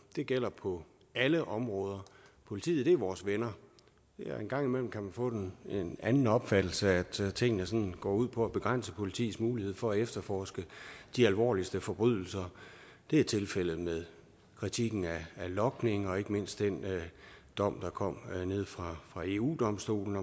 det gælder på alle områder politiet er vores venner en gang imellem kan man få en anden opfattelse altså at tingene sådan går ud på at begrænse politiets mulighed for at efterforske de alvorligste forbrydelser det er tilfældet med kritikken af logning og ikke mindst den dom der kom nede fra eu domstolen